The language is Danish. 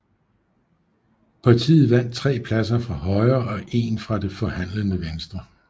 Partiet vandt 3 pladser fra Højre og 1 fra Det forhandlende Venstre